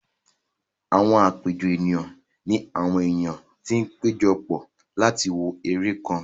Àwọn àpéjọ ènìyàn ní àwọn èèyàn tó pẹ́jọ pọ̀ láti wo eré kan